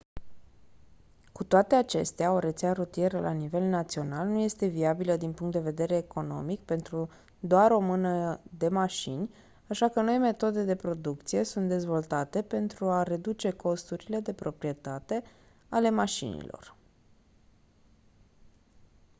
cu toate acestea o rețea rutieră la nivel național nu este viabilă din punct de vedere economic pentru doar o mână de mașini așa că noi metode de producție sunt dezvoltate pentru a reduce costurile de proprietate ale mașinilor